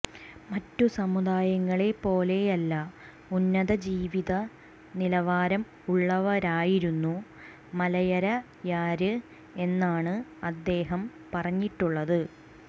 മറ്റു സമുദായങ്ങളെ പോലെയല്ല ഉന്നത ജീവിത നിലവാരം ഉള്ളവരായിരുന്നു മലയരയര് എന്നാണ് അദ്ദേഹം പറഞ്ഞിട്ടുള്ളത്